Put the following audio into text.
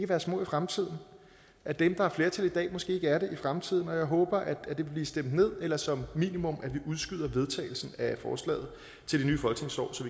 være små i fremtiden at dem der er flertal i dag måske ikke er det i fremtiden og jeg håber at det vil blive stemt ned eller som minimum udskyder vedtagelsen af forslaget til det nye folketingsår så